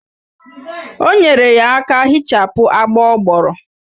O nyere ya aka hichapụ agbọ ọ gbọrọ